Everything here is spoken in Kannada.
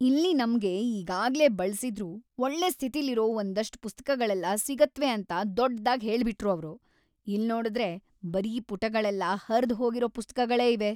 ಇಲ್ಲಿ ನಮ್ಗೆ ಈಗಾಗ್ಲೇ ಬಳ್ಸಿದ್ರೂ ಒಳ್ಳೆ ಸ್ಥಿತಿಲಿರೋ ಒಂದಷ್ಟ್ ಪುಸ್ತಕಗಳೆಲ್ಲ ಸಿಗತ್ವೆ ಅಂತ ದೊಡ್ದಾಗ್‌ ಹೇಳ್ಬಿಟ್ರು ಅವ್ರು, ಇಲ್ನೋಡುದ್ರೆ ಬರೀ ಪುಟಗಳೆಲ್ಲ ಹರ್ದ್‌ ಹೋಗಿರೋ ಪುಸ್ತಕಗಳೇ ಇವೆ.